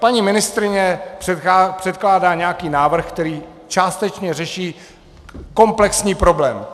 Paní ministryni předkládá nějaký návrh, který částečně řeší komplexní problém.